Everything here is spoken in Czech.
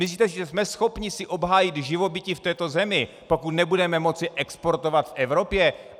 Myslíte si, že jsme schopni si obhájit živobytí v této zemi, pokud nebudeme moci exportovat v Evropě?